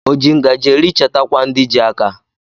O ji ngajị eri chetakwa ndị ji áká.